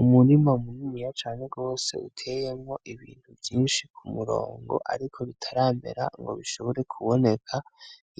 Umurima muniniya cane gose utewemwo Ibintu vyinshi kumurongo ariko bitaramera ngo bishobore kuboneka ,